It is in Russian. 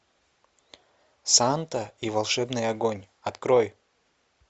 санта и волшебный огонь открой